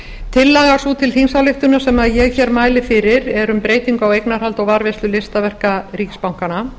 tillaga sú til þingsályktunar sem ég hér mæli fyrir er um breytingu á eignarhaldi og varðveislu listaverka ríkisbankanna